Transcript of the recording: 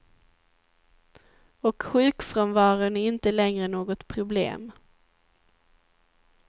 Och sjukfrånvaron är inte längre något problem.